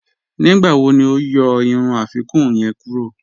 Nígbàwò ni o yọ irun afikuǹ yẹń kúrọ̀?